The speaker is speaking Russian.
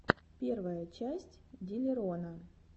первая часть диллерона